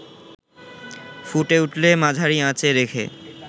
ফুটে উঠলে মাঝারি আঁচে রেখে